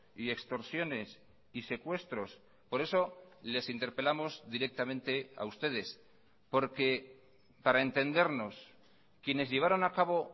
y extorsiones y secuestros por eso les interpelamos directamente a ustedes porque para entendernos quienes llevaron a cabo